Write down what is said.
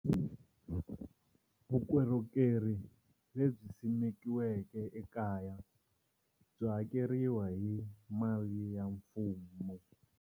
Vukorhokeri lebyi simekiweke ekaya byi hakeriwa hi mali ya mfumo.